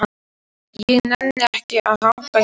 Ég nenni ekki að hanga hér.